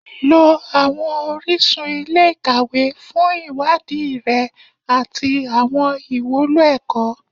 Lọ àwọn orísun ilé-ìkàwé fún ìwádìí rẹ àti àwọn ìwúlò ẹ̀kọ́